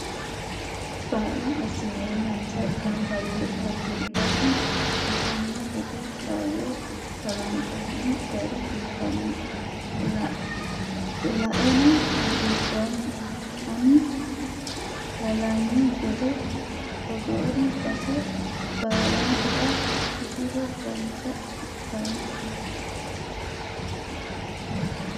Kaa'lo assinennasa gamba yee hagiidhanni ittano gede kaayyo kalqonni gari biifanoho laeno hagiidhommo ani halanyu gede togoori base baallatera sufiro dancha ikkanno.